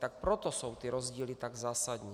Tak proto jsou ty rozdíly tak zásadní.